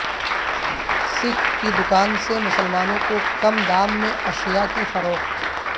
سکھ کی دوکان سے مسلمانوں کو کم دام میں اشیاء کی فروخت